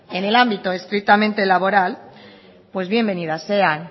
en el ámbito estrictamente laboral pues bienvenidas sean